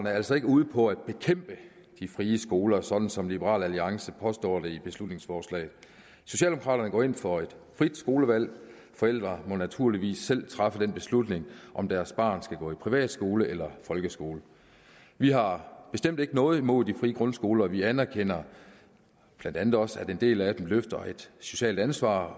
er altså ikke ude på at bekæmpe de frie skoler sådan som liberal alliance påstår i beslutningsforslaget socialdemokraterne går ind for et frit skolevalg forældre må naturligvis selv træffe den beslutning om deres barn skal gå i privatskole eller i folkeskole vi har bestemt ikke noget imod de frie grundskoler og vi anerkender blandt andet også at en del af dem løfter et socialt ansvar